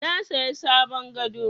Na saya sabon gado.